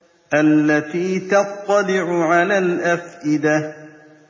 الَّتِي تَطَّلِعُ عَلَى الْأَفْئِدَةِ